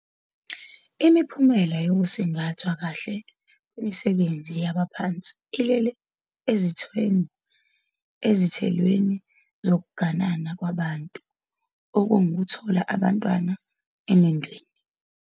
Imiphumela yokusingathwa kahle kwemisebenzi yabaphansi ilele ezithelweni zokuganana kwabantu, okuwukuthola abantwana emendweni.